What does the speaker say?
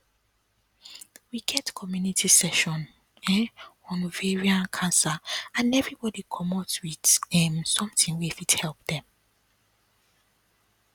we get community session um on ovarian um cancer and everybody commot with um something wey fit help dem